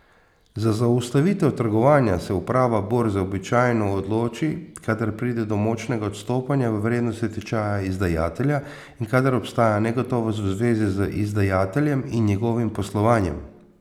Za zaustavitev trgovanja se uprava borze običajno odloči, kadar pride do močnega odstopanja v vrednosti tečaja izdajatelja in kadar obstaja negotovost v zvezi z izdajateljem in njegovim poslovanjem.